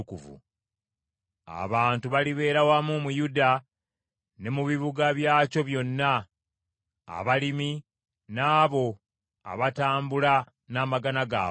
Abantu balibeera wamu mu Yuda ne mu bibuga byakyo byonna, abalimi n’abo abatambula n’amagana gaabwe.